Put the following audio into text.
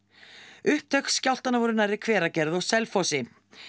upptök skjálftanna voru nærri Hveragerði og Selfossi